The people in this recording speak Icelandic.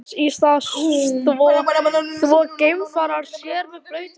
Þess í stað þvo geimfarar sér með blautum svömpum.